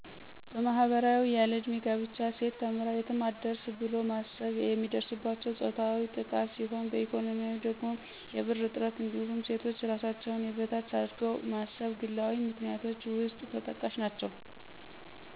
በማህበራዊ ያለዕድሜ ጋብቻ፣ ሴት ተምራ የትም አትደርስ ብሎ ማሰብ፣ የሚደርስባቸው ፆታዊ ጥቃት ሲሆን በኢኮኖሚያዊ ደግሞ የብር እጥረት እንዲሁም ሴቶች እራሳቸውን የበታች አርገው ማሰብ ግላዊ ምክንያቶች ውስጥ ተጠቃሽ ናቸው።